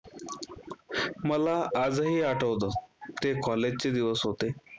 मला आजही आठवतं ते कॉलेज चे दिवस होते.